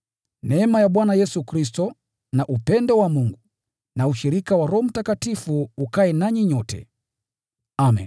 Neema ya Bwana Yesu Kristo, na upendo wa Mungu, na ushirika wa Roho Mtakatifu ukae nanyi nyote. Amen.